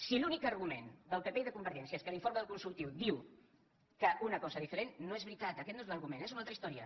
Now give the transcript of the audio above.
si l’únic argument del pp i de convergència és que l’informe del consultiu diu una cosa diferent no és veritat aquest no és l’argument és una altra història